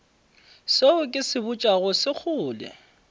seo ke se botšago sekgole